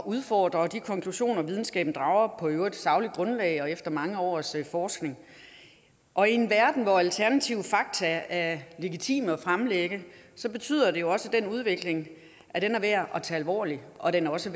udfordre de konklusioner videnskaben drager på et i øvrigt sagligt grundlag og efter mange års forskning og i en verden hvor alternative fakta legitime at fremlægge betyder det også at den udvikling er værd at tage alvorlig og at den også